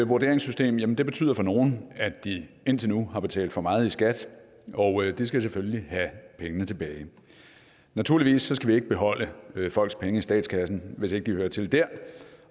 vurderingssystem betyder for nogle at de indtil nu har betalt for meget i skat og de skal selvfølgelig have pengene tilbage naturligvis skal vi ikke beholde folks penge i statskassen hvis ikke de hører til der